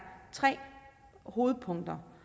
tre hovedpunkter